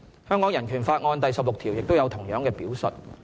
"香港人權法案"第十六條亦有同樣的表述。